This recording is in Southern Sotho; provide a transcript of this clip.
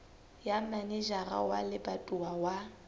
ya manejara wa lebatowa wa